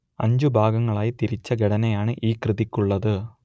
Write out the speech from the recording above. അഞ്ചു ഭാഗങ്ങളായി തിരിച്ച ഘടനയാണ് ഈ കൃതിക്കുള്ളത്